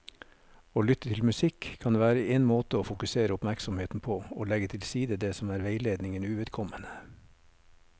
Å lytte til musikk kan være en måte å fokusere oppmerksomheten på og legge til side det som er veiledningen uvedkommende.